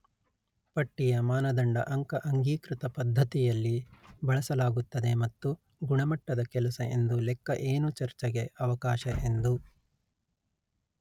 ಪಟ್ಟಿಯ ಮಾನದಂಡ ಅಂಕ ಅಂಗೀಕೃತ ಪದ್ಧತಿಯಲ್ಲಿ ಬಳಸಲಾಗುತ್ತದೆ ಮತ್ತು ಗುಣಮಟ್ಟದ ಕೆಲಸ ಎಂದು ಲೆಕ್ಕ ಏನು ಚರ್ಚೆಗೆ ಅವಕಾಶ ಎಂದು